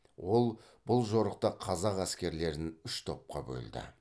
ол бұл жорықта қазақ әскерлерін үш топқа бөлді